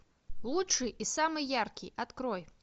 лучший и самый яркий открой